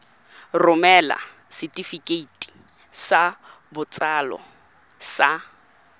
romela setefikeiti sa botsalo sa